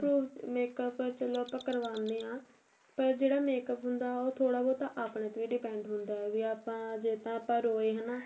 proof makeup ਚਲੋ ਆਪਾਂ ਕਰਵਾਨੇ ਆ ਪਰ ਜਿਹੜਾ makeup ਹੁੰਦਾ ਉਹ ਥੋੜਾ ਬਹੁਤਾ ਆਪਣੇ ਤੇ depend ਹੁੰਦਾ ਵੀ ਆਪਾਂ ਜੇ ਤਾਂ ਰੋਏ ਹਨਾ